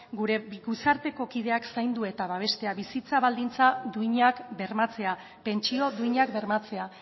gure gizarteko kideak zaindu eta babestea bizitza baldintzak duinak bermatzea pentsio duinak bermatzea